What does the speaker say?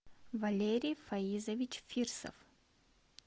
валерий фаизович фирсов